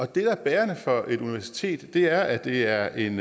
det der er bærende for et universitet er at det er en